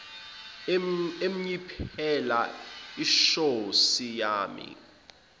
emnyiphela ishoysi yani